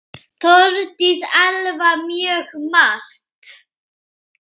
Þórdís Elva: Mjög margt.